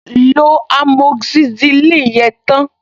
Lo amoxicillin yẹn tán!